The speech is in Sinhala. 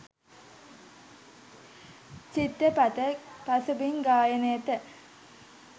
චිත්‍රපට පසුබිම් ගායනයට